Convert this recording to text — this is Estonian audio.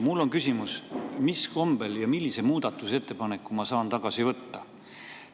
Mul on küsimus, mis kombel ja millise muudatusettepaneku ma saan tagasi võtta.